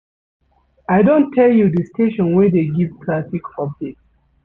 I don tell you di station wey dey given traffic update.